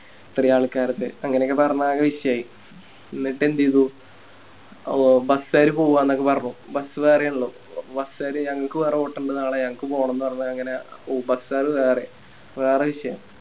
ഇത്രേം ആൽക്കരിണ്ട് അങ്ങനെയൊക്കെ നടന്നാകെ വിഷയായി ന്നിട്ടേന്തേയ്‌തു ഓ Bus കാര് പോവന്നൊക്കെ പറഞ്ഞു Bus വേറെയാണല്ലോ Bus കാര് ഞങ്ങക്ക് വേറെ ഓട്ടണ്ട് നാളെ ഞങ്ങക്ക് പോണംന്ന് പറഞ്ഞ് അങ്ങനെ ഉ Bus കാര് വേറെ വേറെ വിഷയം